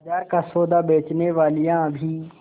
बाजार का सौदा बेचनेवालियॉँ भी